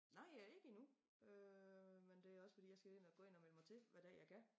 Nej øh ikke endnu øh men det også fordi jeg skal ind og gå ind og melde mig til hvad dag jeg kan